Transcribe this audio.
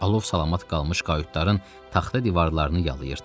Alov salamat qalmış qayutların taxta divarlarını yayırdı.